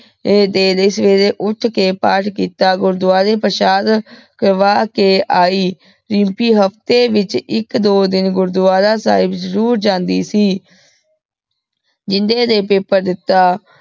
ਦੇ ਲੈ ਸਵੇਰੀ ਉਠ ਕੀਯ ਪਾਤ ਕੀਤਾ ਗੁਰੁਦ੍ਵਾਰੀ ਪ੍ਰਸ਼ਾਦ ਕਰਵਾ ਕੇ ਆਈ ਦਿਮ੍ਪੀ ਹਾਫ੍ਟੀ ਵਿਚ ਏਇਕ ਦੋ ਦਿਨ ਗੁਰੂਦਵਾਰਾ ਸਾਹਿਬ ਜ਼ਰੁਰ ਜਾਂਦੀ ਸੀ ਜਿੰਦੇ ਨੇ paper ਦਿਤਾ